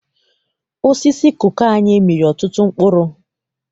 Osisi koko anyị mịrị ọtụtụ mkpụrụ.